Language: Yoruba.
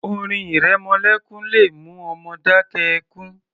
Orin ìrẹmọlékún le mú ọmọ dákẹ́ ẹkún